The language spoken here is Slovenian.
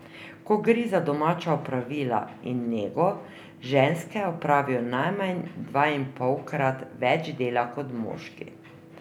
Ko gre za domača opravila in nego, ženske opravijo najmanj dvainpolkrat več dela kot moški.